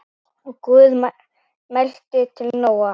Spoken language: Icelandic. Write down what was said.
Og Guð mælti til Nóa